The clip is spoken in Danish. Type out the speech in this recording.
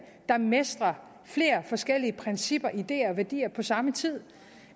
der mestrer flere forskellige principper ideer og værdier på samme tid